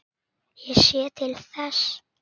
Ég sé til þess.